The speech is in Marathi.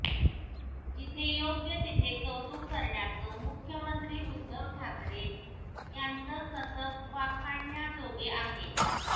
जिथे योग्य तिथे कौतुक करण्याचं मुख्यमंत्री उध्दव ठाकरे यांचं कसब वाखाणण्याजोगे आहे